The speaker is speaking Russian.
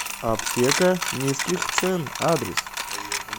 аптека низких цен адрес